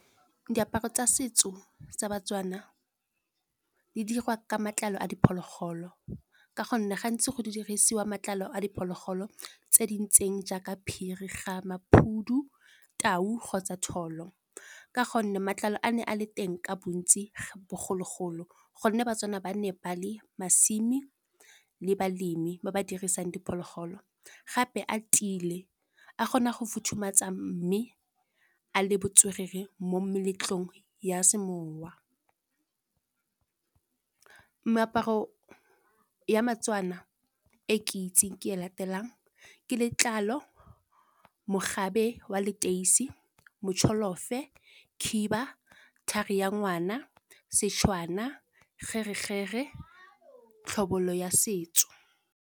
Diaparo tsa setso sa Batswana di diriwa ka matlalo a diphologolo, ka gonne gantsi go dirisiwa matlalo a diphologolo tse di ntseng jaaka phiri ga maphudu, tau kgotsa thoolo. Ka gonne matlalo a ne a le teng ka bontsi bogologolo, gonne Batswana ba nne ba le balemi, ba ba dirisang diphologolo. Gape a tiile a kgona go futhumatsa mme a le botswerere mo meletlong ya semowa. Meaparo ya Batswana e ke itseng ke e latelang, ke letlalo, mogabe wa leteisi, motšholofe, khiba, thari ya ngwana sešwana, kgere-kgere, tlhobolo ya setso.